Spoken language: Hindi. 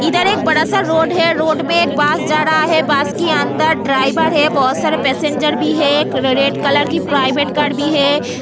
इधर बड़ा सा रोड है रोड पे बस जा रहा है बस कि अंदर ड्राइवर है बहुत सारे पेसेंजर भी है रेड कलर की प्रायवेट कार भी है।